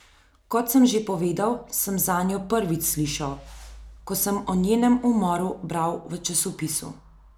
Kot sem že povedal, sem zanjo prvič slišal, ko sem o njenem umoru bral v časopisu.